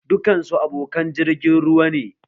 Dukan su abokan jirgin ruwa ne